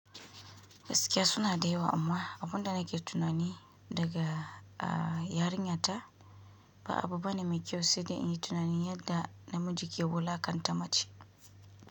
Gaskiya suna da yawa amma, abunda nake tunani daga a yarinyata, ba abu bane mai kyau, sanda in yi tunanin yadda, namiji ke wulaƙanta mace.